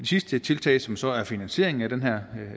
sidste tiltag som så er finansieringen